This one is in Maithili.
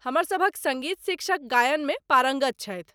हमर सभक सङ्गीत शिक्षक गायनमे पारङ्गत छथि।